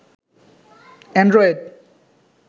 Android